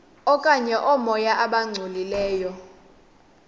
okanye oomoya abangcolileyo